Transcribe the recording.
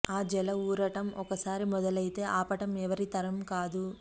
ఆ జల ఊరటం ఒకసారి మొదలయితే ఆపటం ఎవరి తరమూ కాదు